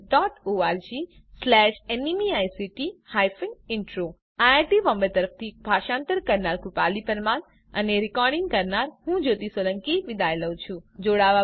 httpspoken tutorialorgNMEICT Intro IIT Bombay તરફથી ભાષાંતર કરનાર હું કૃપાલી પરમાર વિદાય લઉં છું